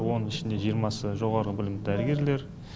оның ішінде жиырмасы жоғары білімді дәрігерлер